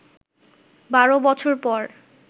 ১২ বছর পর